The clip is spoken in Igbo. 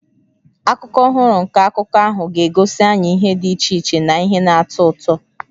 Akụkụ ọhụrụ nke akụkọ ahụ ga-egosi anyị ihe dị iche iche na ihe na-atọ ụtọ.